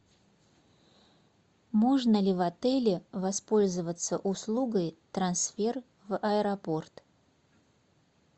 можно ли в отеле воспользоваться услугой трансфер в аэропорт